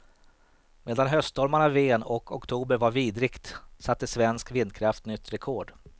Medan höststormarna ven och oktober var vidrigt, satte svensk vindkraft nytt rekord.